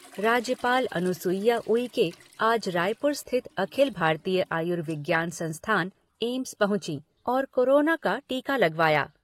राज्यपाल अनुसुईया उइके आज रायपुर स्थित अखिल भारतीय आयुर्विज्ञान संस्थान, एम्स पहुंची और कोरोना का टीका लगवाया।